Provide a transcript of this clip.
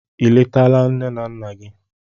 Eletala nne na nna nne gị!